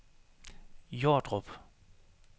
Jordrup